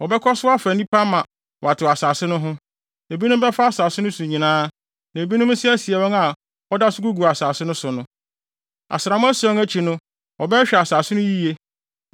Wɔbɛkɔ so afa nnipa ama wɔatew asase no ho. Ebinom bɛfa asase no so nyinaa, na ebinom nso asie wɔn a wɔda so gugu asase no so no. “ ‘Asram ason akyi no wɔbɛhwehwɛ asase no so yiye.